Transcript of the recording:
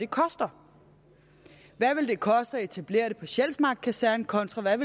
koster hvad vil det koste at etablere det på sjælsmark kaserne kontra hvad